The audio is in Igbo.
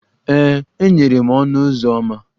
Ee, e nyere m ọnụ ụzọ ámá.